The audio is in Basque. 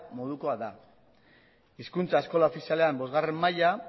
modukoa da hizkuntza eskola ofizialean bostgarrena maila